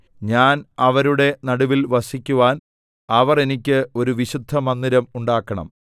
ഞാൻ അവരുടെ നടുവിൽ വസിക്കുവാൻ അവർ എനിക്ക് ഒരു വിശുദ്ധമന്ദിരം ഉണ്ടാക്കണം